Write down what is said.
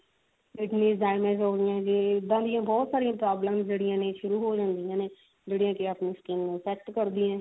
ਹੋਗੀਆਂ ਜੀ ਇੱਦਾਂ ਦੀਆਂ ਬਹੁਤ ਸਾਰੀਆਂ problems ਜਿਹੜੀਆਂ ਨੇ ਸ਼ੁਰੂ ਹੋ ਜਾਂਦੀਆਂ ਨੇ ਜਿਹੜੀਆਂ ਕੀ ਆਪਣੀ skin ਨੂੰ effect ਕਰਦੀਆਂ ਨੇ